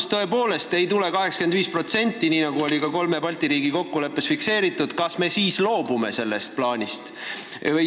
Kui tõepoolest ei kaeta 85% maksumusest, mis oli ka kolme Balti riigi kokkuleppes fikseeritud, kas me siis loobume sellest plaanist?